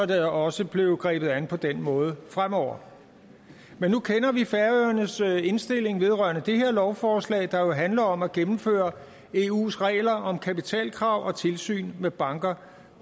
det også bliver grebet an på den måde fremover men nu kender vi færøernes indstilling vedrørende det her lovforslag der jo handler om at gennemføre eus regler om kapitalkrav og tilsyn med banker